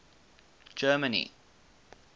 germany